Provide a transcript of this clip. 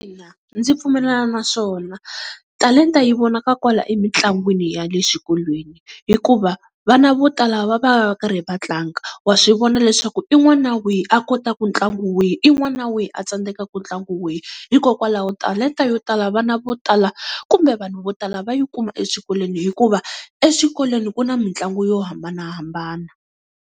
Ina ndzi pfumelelana na swona, talenta yi vonaka kwala emitlangwini ya le xikolweni hikuva vana vo tala va va va karhi va tlanga, wa swivona leswaku i n'wana wihi a kotaku ntlangu wihi, i n'wana wihi a tsandzekaka ntlangu wihi. Hikokwalaho talenta yo tala vana vo tala kumbe vanhu vo tala va yi kuma eswikolweni hikuva exikolweni ku na mitlangu yo hambanahambana.